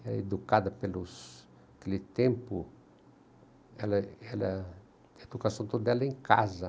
era educada pelos, naquele tempo, ela ela, a educação toda era em casa.